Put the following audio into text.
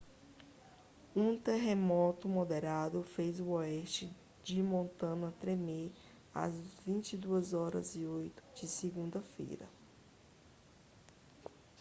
um terremoto moderado fez o oeste de montana tremer às 22:08 de segunda-feira